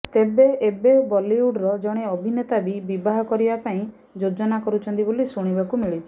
ତେବେ ଏବେ ବଲିଉଡ୍ର ଜଣେ ଅଭିନେତା ବି ବିବାହ କରିବା ପାଇଁ ଯୋଜନା କରୁଛନ୍ତି ବୋଲି ଶୁଣିବାକୁ ମିଳୁଛି